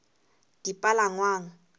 dipalangwang